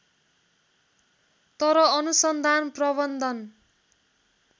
तर अनुसन्धान प्रवन्धन